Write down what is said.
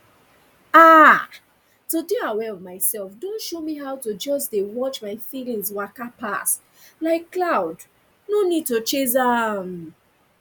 ah to dey aware of myself don show me how to just dey watch my feelings waka pass like cloud no need to chase am